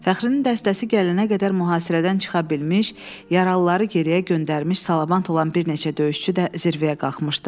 Fəxrinin dəstəsi gələnə qədər mühasirədən çıxa bilmiş, yaralıları geriyə göndərmiş salamat olan bir neçə döyüşçü də zirvəyə qalxmışdı.